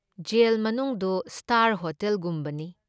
Gel ꯃꯅꯨꯡꯗꯨ star ꯍꯣꯇꯦꯜꯒꯨꯝꯕꯅꯤ ꯫